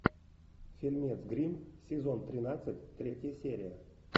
фильмец гримм сезон тринадцать третья серия